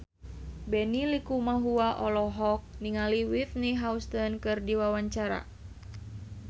Benny Likumahua olohok ningali Whitney Houston keur diwawancara